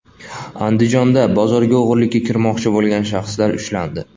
Andijonda bozorga o‘g‘irlikka kirmoqchi bo‘lgan shaxslar ushlandi.